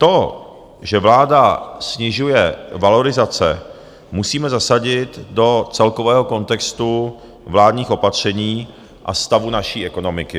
To, že vláda snižuje valorizace, musíme zasadit do celkového kontextu vládních opatření a stavu naší ekonomiky.